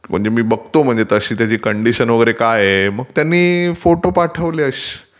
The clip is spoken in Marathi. म्हणजे मी बघतो कसे काय कंटीशन वगैरे काय आहे, मग त्यांनी फोटो पाठवले,